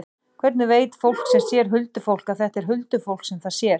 Hvernig veit fólk sem sér huldufólk að þetta er huldufólk sem það sér?